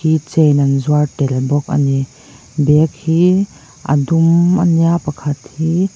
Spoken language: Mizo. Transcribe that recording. chain an zuar tel bawk a ni bag hi a dum a nia pakhat hi--